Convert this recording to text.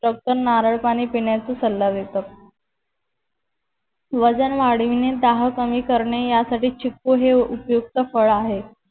doctor नारळ पानी पिण्याचा सल्ला देतात वजन वाढविणे तह कमी करणे या साथी चिक्कू हे उपयुक्त फळ आहे